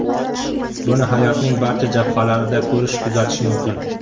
Buni hayotning barcha jabhalarida ko‘rish-kuzatish mumkin.